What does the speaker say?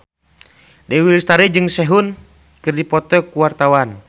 Dewi Lestari jeung Sehun keur dipoto ku wartawan